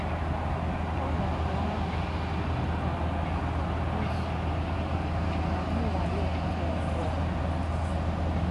Ònòdù àhụ̀ gàrà ìzù n’ánụ̀nwalè nké èbùọ̀.